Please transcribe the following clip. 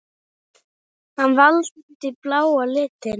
Hann valdi bláa litinn.